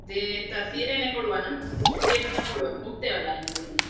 ಅದೇ ಎಂತ ಸೀರೆನೇ ಕೋಡ್ವನ ಸೀರೆನೇ ತಗೋಳ್ವ ಹೋಗ್ತೇವೆ ಅಲ್ಲ